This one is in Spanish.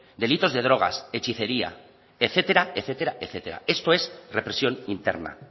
delitos de drogas hechicería etcétera etcétera etcétera esto es represión interna